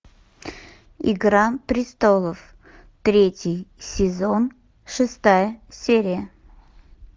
игра престолов третий сезон шестая серия